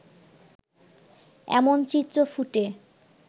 এমন চিত্র ফুটে